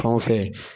Fan fɛ